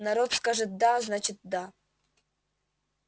народ скажет да значит да